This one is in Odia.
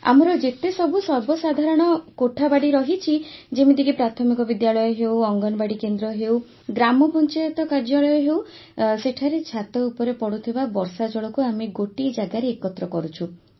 ଆମର ଯେତେସବୁ ସର୍ବସାଧାରଣ କୋଠାବାଡ଼ି ରହିଛି ଯେମିତିକି ପ୍ରାଥମିକ ବିଦ୍ୟାଳୟ ହେଉ ଅଙ୍ଗନବାଡ଼ି କେନ୍ଦ୍ର ହେଉ ଗ୍ରାମପଞ୍ଚାୟତ କାର୍ଯ୍ୟାଳୟ ହେଉ ସେଠାରେ ଛାତ ଉପରେ ପଡ଼ୁଥିବା ବର୍ଷାଜଳକୁ ଆମେ ଗୋଟିଏ ଜାଗାରେ ଏକତ୍ର କରୁଛୁ